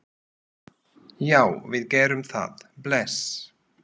Já, við gerum það. Bless.